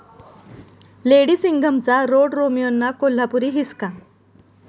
lady सिंघम'चा रोडरोमियोंना 'कोल्हापुरी हिसका'